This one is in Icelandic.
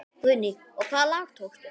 Guðný: Og hvaða lag tókstu?